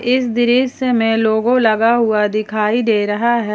इस दृसय में लोगो लगा हुआ दिखाई दे रहा है।